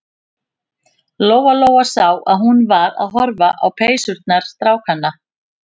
Lóa-Lóa sá að hún var að horfa á peysurnar strákanna.